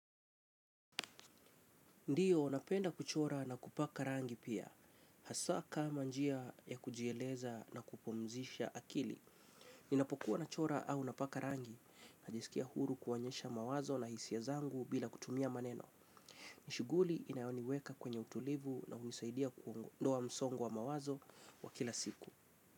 Ndiyo, napenda kuchora na kupaka rangi pia. Hasa kama njia ya kujieleza na kupumzisha akili. Ninapokuwa nachora au napaka rangi. Najisikia huru kuonyesha mawazo na hisia zangu bila kutumia maneno. Ni shughuli inayoniweka kwenye utulivu na hunisaidia kuondoa msongo wa mawazo wa kila siku.